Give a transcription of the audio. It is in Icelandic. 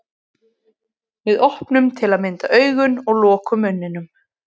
Við opnum til að mynda augun og lokum munninum.